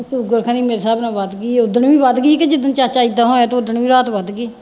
sugar ਖਨੀ ਮੇਰੇ ਹਿਸਾਬ ਨਾਲ ਵੱਧ ਗਈ ਹੈ ਉਹ ਦਿਨ ਵੀ ਵੱਧ ਗਈ ਸੀ ਜਿ-ਦਿਨ ਚਾਚਾ ਏਦਾਂ ਹੋਇਆ ਤੇ ਉਹ ਦਿਨ ਵੀ ਰਾਤ ਵੱਧ ਗਈ